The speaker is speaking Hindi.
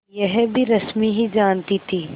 यह भी रश्मि ही जानती थी